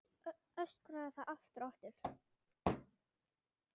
Öskraði það aftur og aftur.